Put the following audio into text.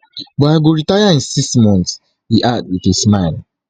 but i go retire in six months e add wit a smile